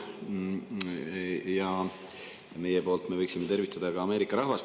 Meie võiksime omalt poolt ka Ameerika rahvast.